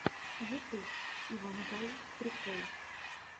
ютуб ивангай прикол